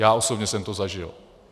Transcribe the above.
Já osobně jsem to zažil.